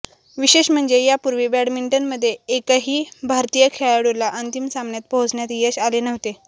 विशेष म्हणजे यापूर्वी बॅडमिंटनमध्ये एकाही भारतीय खेळाडूला अंतिम सामन्यात पोहोचण्यात यश आले नव्हते